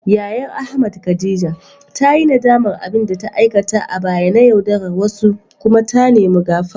Yayar Ahmad, Khadija ta yi nadamar abin da ta aikata a baya na yaudarar wasu kuma ta nemi gafara.